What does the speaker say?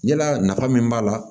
Yalaa nafa min b'a la